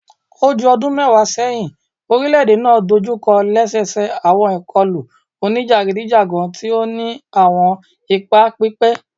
O ju ọdun mẹwa sẹhin, orilẹ-ede naa dojukọ lẹsẹsẹ awọn ikọlu onijagidijagan ti o ni awọn ipa pipẹ